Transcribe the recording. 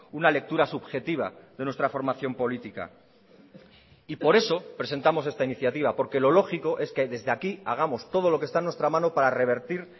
una lectura subjetiva de nuestra formación política y por eso presentamos esta iniciativa porque lo lógico es que desde aquí hagamos todo lo que está en nuestra mano para revertir